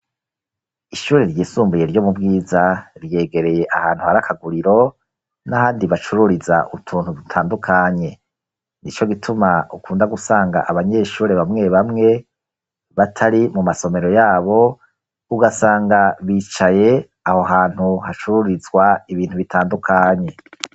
Ishure ryisumbuye ryo mu Bwiza, ryegereye ahantu hari akaguriro, n'ahandi bacururiza utuntu dutandukanye; ni co gituma ukunda gusanga abanyeshure bamwe bamwe, batari mu masomero yabo, ugasanga bicaye aho hantu hacururizwa ibintu bitandukanye.